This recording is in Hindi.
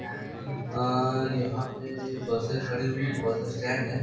अ अ अ यहाँ पे बसें खड़ी हुई हैं। बस स्टैंड है।